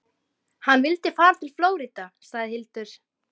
Jónbjörg, ekki fórstu með þeim?